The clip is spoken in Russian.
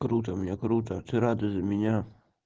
круто меня круто ты рада за меня